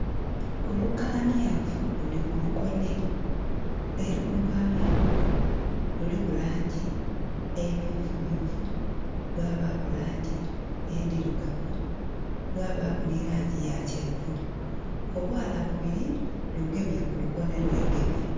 Olukaniavu luli ku lukonhe era olukaniavu lunho luliku langi emyufu myufu lwanbaku langi endhirugavu lwabaku ni langi ya kyenvu. Obwaala bubiri bugemye kulukonhe lwegemye.